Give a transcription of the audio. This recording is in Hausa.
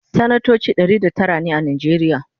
sanatoci Ɗari da Tara ne a najeriya